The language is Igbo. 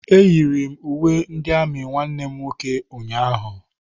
Eyiri m uwe ndị amị nwanne m nwoke ụnyaahụ.